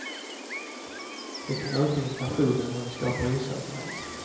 Det kan öka inflationen och det skapar osäkerhet.